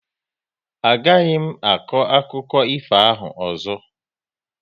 A gaghị m akọ akụkọ ifo ahụ ọzọ